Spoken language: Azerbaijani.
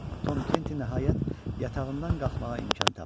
Tom Kenti nəhayət yatağından qalxmağa imkan tapdı.